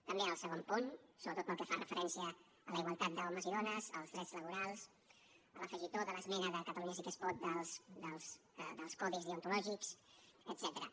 també en el segon punt sobretot el que fa referència a la igualtat d’homes i dones als drets laborals a l’afegitó de l’esmena de catalunya sí que es pot dels codis deontològics etcètera